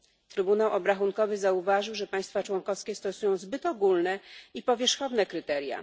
Trybunał Obrachunkowy zauważył, że państwa członkowskie stosują zbyt ogólne i powierzchowne kryteria.